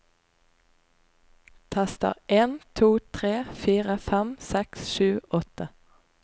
Tester en to tre fire fem seks sju åtte